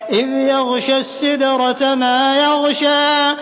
إِذْ يَغْشَى السِّدْرَةَ مَا يَغْشَىٰ